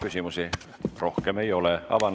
Küsimusi rohkem ei ole.